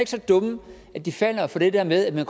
så dumme at de falder for det der med at man